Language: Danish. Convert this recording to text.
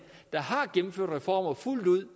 der har gennemført reformer fuldt ud